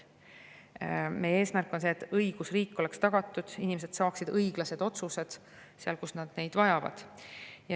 Meie eesmärk on see, et õigusriik oleks tagatud, et inimesed saaksid õiglased otsused, kui nad neid vajavad.